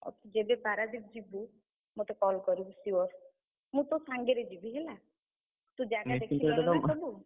ଆଉ, ଯେବେ ପାରାଦ୍ୱୀପ ଯିବୁ, ମତେ ମତେ call କରିବୁ sure ମୁଁ ତୋ ସାଙ୍ଗରେ ଯିବି ହେଲା। ତୁ ଜାଗା ଦେଖିଲୁଣୁ ନା ସବୁ।